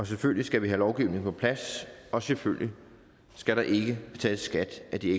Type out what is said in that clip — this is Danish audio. selvfølgelig skal vi have lovgivningen på plads og selvfølgelig skal der ikke betales skat af de